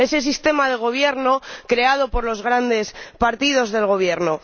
ese sistema de gobierno creado por los grandes partidos del Gobierno.